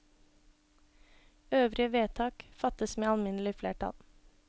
Øvrige vedtak fattes med alminnelig flertall.